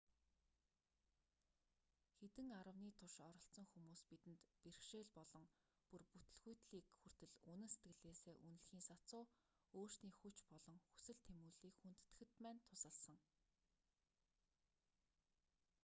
хэдэн аравны турш оролцсон хүмүүс бидэнд бэрхшээл болон бүр бүтэлгүйтлийг хүртэл үнэн сэтгэлээсээ үнэлэхийн сацуу өөрсдийн хүч болон хүсэл тэмүүллийг хүндэтгэхэд маань тусалсан